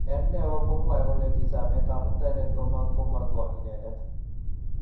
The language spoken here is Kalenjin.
En neoo komwae kole kisome kamuktaindet komang komatwo inendet